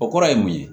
O kɔrɔ ye mun ye